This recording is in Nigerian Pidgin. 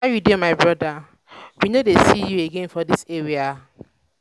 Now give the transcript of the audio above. how you dey my broda? we no dey see you again for dis area.